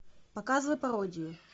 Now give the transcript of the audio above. показывай пародию